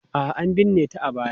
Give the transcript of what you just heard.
A'a, an binne ta a baya.